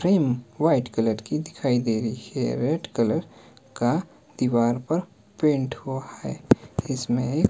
frame white colour की दिखाई दे रही है रेड कलर का दीवार पर पेंट हुआ है इसमें--